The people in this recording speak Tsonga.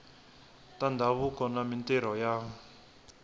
ta ndhavuko na mintirho ya